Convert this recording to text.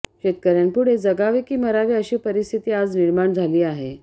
शेतकऱ्यांपुढे जगावे की मरावे अशी परिस्थिती आज निर्माण झाली आहे